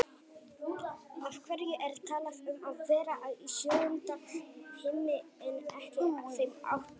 Af hverju er talað um að vera í sjöunda himni en ekki þeim áttunda?